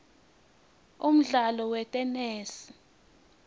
umdlalo wetenesi